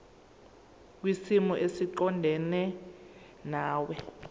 kwisimo esiqondena nawe